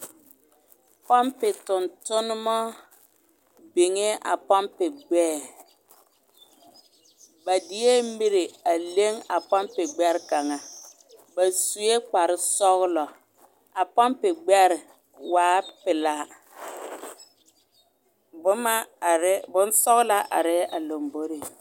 Pompe tontonemɔ biŋɛɛ a pompe gbɛɛ, ba deɛ miri a leŋ a pompe gbɛre kaŋa, ba sue kpare sɔgelɔ, a pompe gbɛre waɛ pelaa, bonsɔgelaa arɛɛ a lomboriŋ.